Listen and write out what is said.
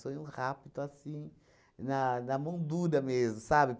Foi um rapto assim, na na mão dura mesmo, sabe?